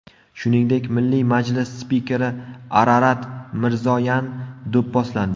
Shuningdek, Milliy majlis spikeri Ararat Mirzoyan do‘pposlandi .